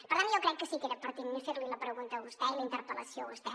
per tant jo crec que sí que era pertinent fer li la pregunta a vostè i la interpel·lació a vostè